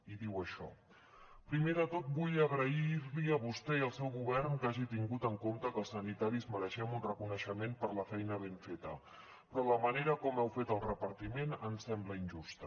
i diu això primer de tot vull agrairli a vostè i al seu govern que hagi tingut en compte que els sanitaris mereixem un reconeixement per la feina ben feta però la manera com heu fet el repartiment em sembla injusta